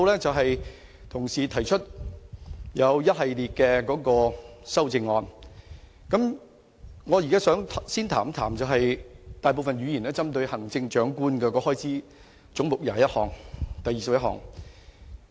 就同事現時提出一系列的修正案，我現在想先談談大部分議員也針對的行政長官的開支總目21。